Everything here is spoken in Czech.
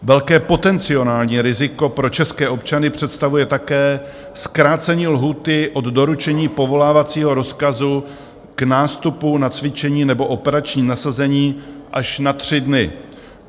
Velké potenciální riziko pro české občany představuje také zkrácení lhůty od doručení povolávacího rozkazu k nástupu na cvičení nebo operační nasazení až na tři dny.